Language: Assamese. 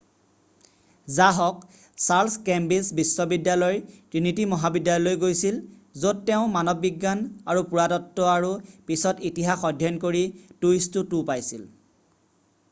যাহওক চাৰ্লছ কেম্ব্ৰিজ বিশ্ববিদ্যালয়ৰ ট্ৰিনিটী মহাবিদ্যালয়লৈ গৈছিল য'ত তেওঁ মানৱবিজ্ঞান আৰু পুৰাতত্ব আৰু পিছত ইতিহাস অধ্যয়ন কৰি 2:2 এটা নিম্ন দ্বিতীয় শ্ৰেণীৰ ডিগ্ৰী পাইছিল।